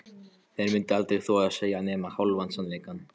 Þeir myndu aldrei þora að segja nema hálfan sannleikann.